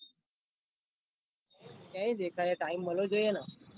શુ દેખાય time મલ્વો જોઈ ને